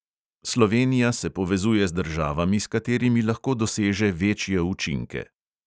Slovenija se povezuje z državami, s katerimi lahko doseže večje učinke.